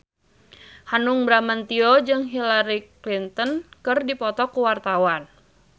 Hanung Bramantyo jeung Hillary Clinton keur dipoto ku wartawan